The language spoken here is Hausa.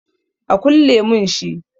A kulle mun shi